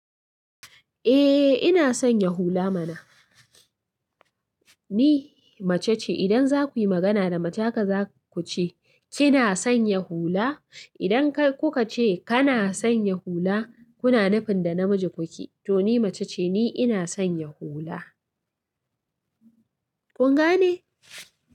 Eh, ina son ya hula mana. Ni mace ce, idan za ku yi magana da mace haka za ku ce, "kina son ya hula?" Idan kai kuka ce kana san ya hula, kuna nufin da namiji kuke. To ni mace ce, ni ina san ya hula. Kun gane?